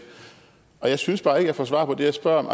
jeg synes bare ikke jeg får svar på det jeg spørger om